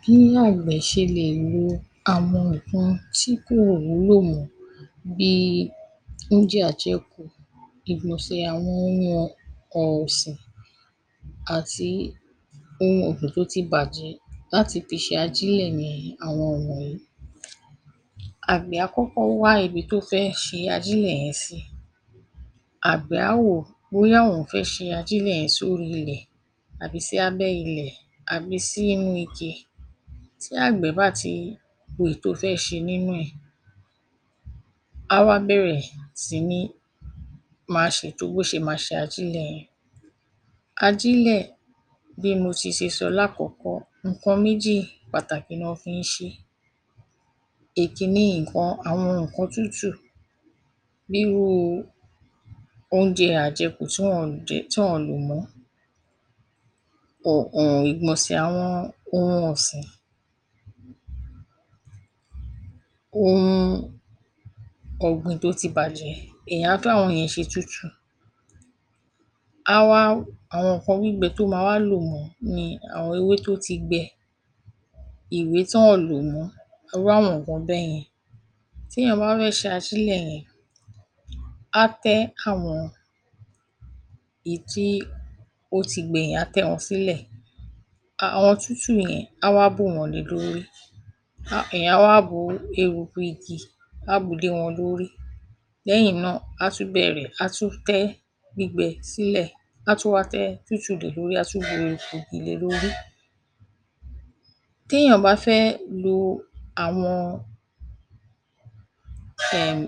Bí àgbẹ̀ ṣe lè lo àwọn ǹǹkan tí kò wúlò mọ́ bíi oúnjẹ àjẹkù, ìgbọ̀nsẹ̀ àwọn ohun ọ̀, ọ̀sìn àti tó ti bàjẹ́ láti fi ṣe ajílẹ̀ ni àwọn wọ̀nyìí. Àgbẹ̀ á kọ́kọ́ wá ibi tó fẹ́ ṣe ajílẹ̀ yẹn sí. Àgbẹ̀ á wò ó bóyá òun fẹ́ ṣe ajílẹ̀ yẹn sóhí ilẹ̀ àbí sí abẹ́ ilẹ̀ àbí sí inú ike. Tí àgbẹ̀ bá ti wo èyí tó fẹ́ ṣe nínú ẹ̀, á wá bẹ̀rẹ̀ sí ní máa ṣètò bó ṣe máa ṣe ajílẹ̀ yẹn. Ajílẹ̀, bí mo ti se so lákọ̀ọ́kọ́, ǹǹkan méjì pàtàkì ná fi ń ṣe é. Èkíní, nǹkan, àwọn nǹkan tútù bíi irú u oúnjẹ àjẹkù tí an àn jẹ, tí an àn lò mọ́, ìgbọ̀nsẹ̀ àwọn ohun ọ̀sìn, ohun ọ̀gbìn tó ti bàjẹ́, èèyàn á tún àwọn yẹn ṣe tútù, á wá àwọn nǹkan gbígbẹ tó máa wá lò mọ bíi àwọn ewé tó ti gbẹ, ìwé tán àn lò mọ́, á wá àwọn nǹkan bẹ́yẹn. Téèyàn bá fẹ́ ṣe ajílẹ̀ yẹn, á tẹ́ àwọn èyí tí ó ti gbẹ yẹn, á tẹ́ wọn sílẹ̀, àwọn tútù yẹn, á wá bù wọ́n le lórí. Èèyàn á wá bu ehuku igi, á bù ú lé wọn lórí. Lẹ́yìn náà, á tún bẹ̀rẹ̀, á tún tẹ́ gbígbẹ sílẹ̀, á tún wá tẹ́ tútù le lórí, á tún bu eruku igi le lórí. Téèyàn bá fẹ́ lo àwọn um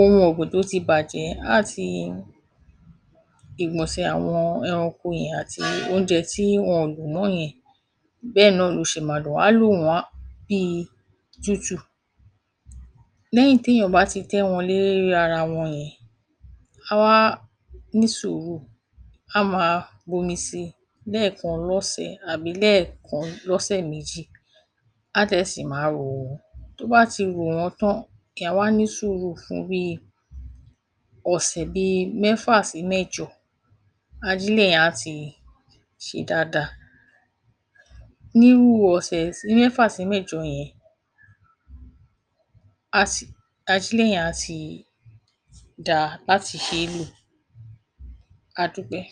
ohun ọ̀gbìn tó ti bàjẹ́ àti ìgbọ̀nsẹ̀ àwọn ẹranko yẹn àti oúnjẹ tí wọn ọ̀n lò mọ́ yẹn, bẹ́ẹ̀ náà lo ṣe máa lò wọ́n. Á lò wọ́n bíi tútù. Lẹ́yìn téèyàn bá ti tẹ́ wọn lérí ara wọn yẹn, á wá ní sùúhù á máa bomi sí i lẹ́ẹ̀kan lọ́sẹ̀ àbí lẹ́ẹ̀kan lọ́sẹ̀ méjì, á dẹ̀ sì máa rò wọ́n. Tó bá ti hò wọ́n tán, èèyàn á wá ní sùúhù fún bíi ọ̀sẹ̀ bíi mẹ́fà sí mẹ́jọ, ajílẹ̀ yẹn á ti ṣe dáadáa. Níhú ọ̀sẹ̀ sí mẹ́fà sí mẹ́jọ yẹn, á ti, ajílẹ̀ yẹn á ti dáa láti ṣe é lò. A dúpẹ́.